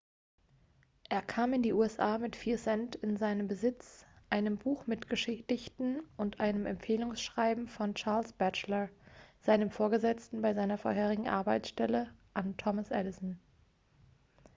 er kam in die usa mit 4 cent in seinem besitz einem buch mit gedichten und einem empfehlungsschreiben von charles batchelor seinem vorgesetzten bei seiner vorherigen arbeitsstelle an thomas edison